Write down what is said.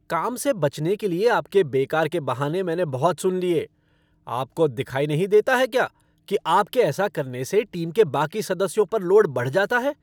काम से बचने के लिए आपके बेकार के बहाने मैंने बहुत सुन लिए। आपको दिखाई नहीं देता है क्या कि आपके ऐसा करने से टीम के बाकी सदस्यों पर लोड बढ़ जाता है?